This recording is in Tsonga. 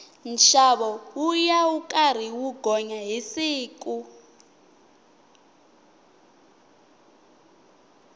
nxavo wuya wu karhi wu gonya hi siku